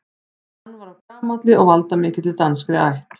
Hann var af gamalli og valdamikilli danskri ætt.